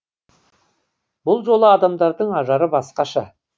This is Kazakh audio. бұл жолы адамдардың ажары басқаша